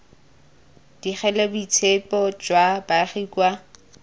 digile boitshepo jwa baagi kwa